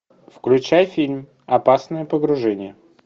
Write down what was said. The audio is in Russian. включай фильм опасное погружение